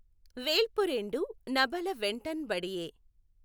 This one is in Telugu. వేల్పుఱేఁడు నబల వెంటఁ బడియె.